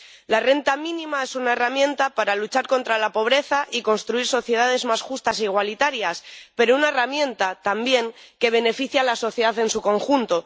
La renta mínima es una herramienta para luchar contra la pobreza y construir sociedades más justas e igualitarias, pero una herramienta, también, que beneficia a la sociedad en su conjunto.